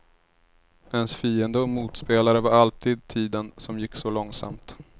Ens fiende och motspelare var alltid tiden, som gick så långsamt.